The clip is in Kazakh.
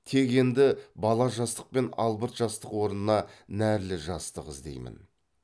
тек енді бала жастық пен албырт жастық орнына нәрлі жастық іздеймін